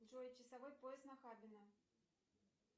джой часовой пояс нахабино